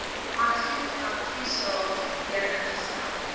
argiefadviesraad weer ingestel